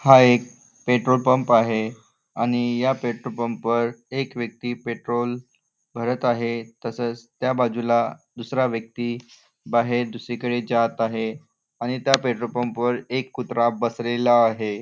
हा एक petrol pump आहे आणि या पेट्रोल पंपवर एक व्यक्ती पेट्रोल भरत आहे तसंच त्या बाजूला दुसरा व्यक्ती बाहेर दुसरीकडे जात आहे आणि त्या पेट्रोल पंपावर एक कुत्रा बसलेला आहे.